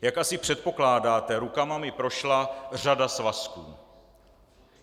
Jak asi předpokládáte, rukama mi prošla řada svazků.